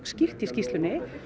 skýrt í skýrslunni